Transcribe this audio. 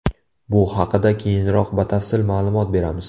Bu haqida keyinroq batafsil ma’lumot beramiz.